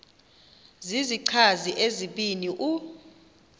zizichazi ezibini u